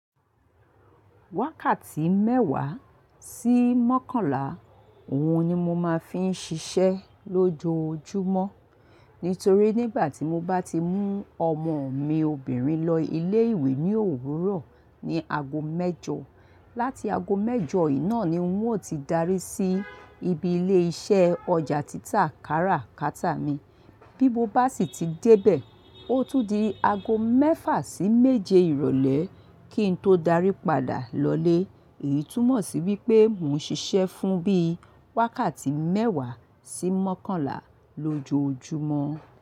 Wákàtí mẹ́wàá sí mọ́kànlá, òun ni mo máa ń fi ń ṣiṣẹ́ lójoojúmọ́. Nítorí nígbà tí mo bá ti mú ọmọ mi obìnrin lọ ilé ìwé ní òwúrọ̀ ní ago mẹ́jọ, láti ago mẹ́jọ yìí náà ni wọn ó ti darí sí ibi ilé iṣẹ́ ọjà títà kárà kàtá mi. Bí mo bá sì ti dé bẹ̀, ó tún di ago mẹ́fà sí méje ìrọ̀lẹ́ kí n tó darí padà lọlé. Èyí túmọ̀ sí wípé mò ń ṣiṣẹ́ fún bí i wákàtí mẹ́wàá sí mọ́kànlá lójoojúmọ́.